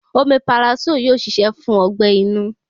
Omeparasóò yóò ṣiṣẹ́ fún ọgbẹ́-inú.